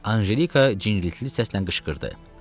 Anjelika cindriltili səslə qışqırdı.